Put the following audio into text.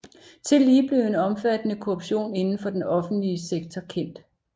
Tillige blev en omfattende korruption inden for den offentlige sektor kendt